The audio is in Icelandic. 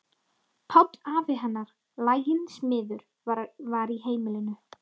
Páll afi hennar, laginn smiður, var í heimilinu.